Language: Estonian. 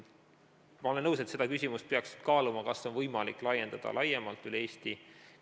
Ma olen nõus, seda küsimust peaks kaaluma, et kas on võimalik laiendada seda üle Eesti.